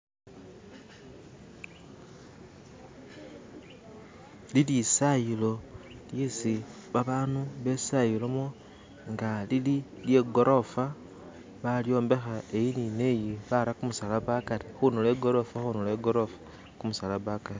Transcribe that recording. Lilisayilo lyesi babandu bbe sayilomo nga lili lye gorofa bayombekha eyi ni neyi baramo kumusalaba hakari khunduro igorofa khunduro igorofa khumusaraba hakari